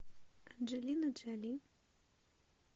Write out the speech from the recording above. анджелина джоли